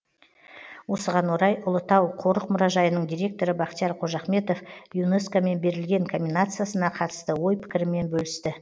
осыған орай ұлытау қорық мұражайының директоры бақтияр қожахметов юнеско мен берілген номинациясына қатысты ой пікірімен бөлісті